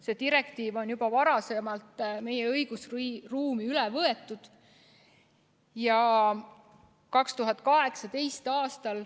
See direktiiv on juba varem, 2018. aastal meie õigusruumi üle võetud.